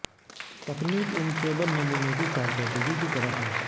تکنیک ان چوبن نمونہ کی کارکردگی کی طرح ہے